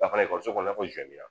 Dafara ekɔliso i n'a fɔ